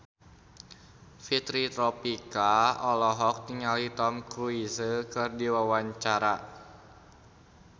Fitri Tropika olohok ningali Tom Cruise keur diwawancara